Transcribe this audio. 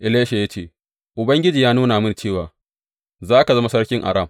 Elisha ya ce, Ubangiji ya nuna mini cewa za ka zama sarkin Aram.